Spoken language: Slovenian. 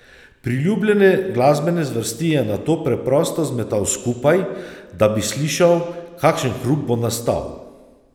Priljubljene glasbene zvrsti je nato preprosto zmetal skupaj, da bi slišal, kakšen hrup bo nastal.